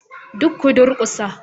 Duk ku durkusa